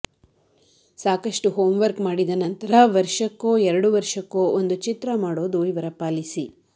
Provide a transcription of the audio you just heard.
ಸಾಕಷ್ಟು ಹೋಂವರ್ಕ್ ಮಾಡಿದ ನಂತರ ವರ್ಷಕ್ಕೋ ಎರಡು ವರ್ಷಕ್ಕೋ ಒಂದು ಚಿತ್ರ ಮಾಡೋದು ಇವರ ಪಾಲಿಸಿ